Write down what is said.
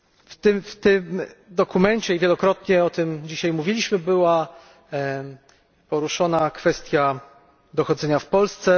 W tym dokumencie i wielokrotnie o tym dzisiaj mówiliśmy była poruszona kwestia dochodzenia w Polsce.